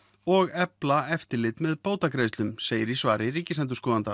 og efla eftirlit með bótagreiðslum segir í svari ríkisendurskoðanda